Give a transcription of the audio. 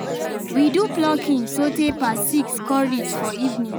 we do plucking so tay pass six con reach for evening